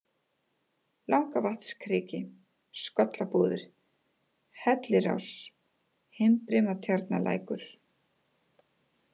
Langavatnskriki, Skollabúðir, Hellirás, Himbrimatjarnarlækur